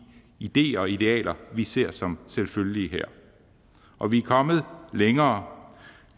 ideer og idealer vi ser som selvfølgelige her og vi er kommet længere